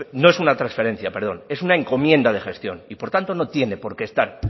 no es una transferencia perdón es una encomiendo de gestión y por tanto no tiene por qué estar